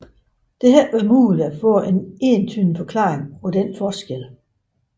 Det har ikke været muligt at få en entydig forklaring på denne forskel